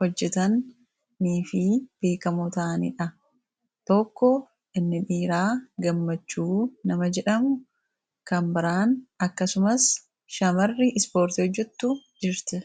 hojjetanii fi beekkamoo ta'anidha. Inni dhiiraa Gammachuu yoo jedhamu dubartii n kan biraa illee ni jirti.